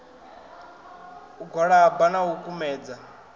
u gwalaba na u kumedza